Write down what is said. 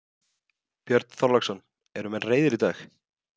Björn Þorláksson: Eru menn reiðir í dag?